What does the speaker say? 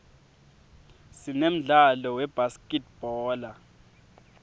sinemdlalo webhaskidbhola